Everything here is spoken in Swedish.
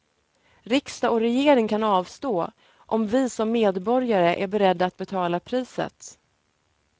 Riksdag och regering kan avstå, om vi som medborgare är beredda att betala priset.